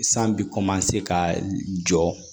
San bɛ ka jɔ